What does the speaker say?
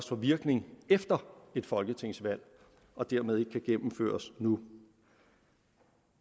får virkning efter et folketingsvalg og dermed ikke kan gennemføres nu